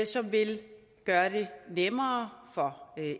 som vil gøre det nemmere for